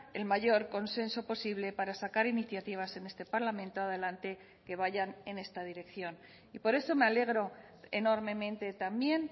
el mayor consenso posible para sacar iniciativas en este parlamento adelante que vayan en esta dirección y por eso me alegro enormemente también